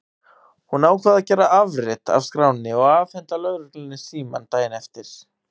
Hún ákvað að gera afrit af skránni og afhenda lögreglunni símann daginn eftir.